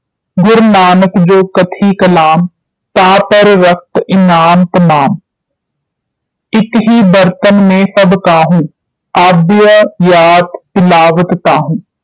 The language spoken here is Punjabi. ਗੁਰੂ ਨਾਨਕ ਜੋ ਕਥਿ ਕਲਾਮ ਤਾਂ ਪਰ ਰਖ਼ਤ ਇਨਾਮ ਤਮਾਮ ਇਕ ਹੀ ਬਰਤਨ ਮੈਂ ਸਭ ਕਾਹੂੰ ਆਬਹਯਾਤ ਪਿਲਾਵਤ ਤਾਹੂੰ